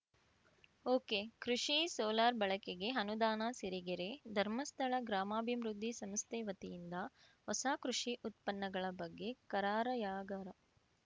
okay ಕೃಷಿ solar ಬಳಕೆಗೆ ಅನುದಾನ ಸಿರಿಗೆರೆ ಧರ್ಮಸ್ಥಳ ಗ್ರಾಮಾಭಿವೃದ್ಧಿ ಸಂಸ್ಥೆ ವತಿಯಿಂದ ಹೊಸ ಕೃಷಿ ಉತ್ಪನ್ನಗಳ ಬಗ್ಗೆ ಕಾರಾರ‍ಯಗಾರ